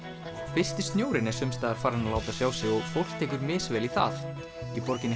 fyrsti snjórinn er sums staðar farinn að láta sjá sig og fólk tekur misvel í það í borginni